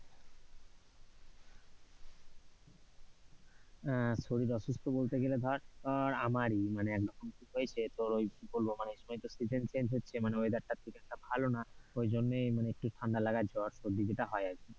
উহ শরীর অসুস্থ বলতে গেলে ধর আহ আমারই মানে এরকম কি হয়েছে তোর ওই কি বলব মানে season change হচ্ছে weather টা খুব একটা ভালো না। ওই জন্যে মানে একটু ঠান্ডা লাগা জ্বর সর্দি যেটা হয় আর কি।